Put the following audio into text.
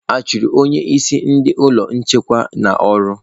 A chụrụ onye isi ndị ọrụ nchekwa n'ọrụ?